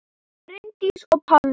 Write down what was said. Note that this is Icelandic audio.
Bryndís og Pálmi.